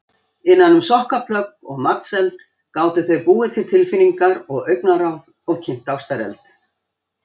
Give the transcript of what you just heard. Innan um sokkaplögg og matseld gátu þau búið til tilfinningar og augnaráð og kynt ástareld.